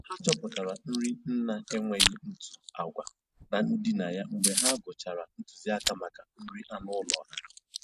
Ha chọpụtara nri nna-enweghị ntụ agwa na ndịna ya mgbe ha gụchara ntụziaka maka nri anụ ụlọ ha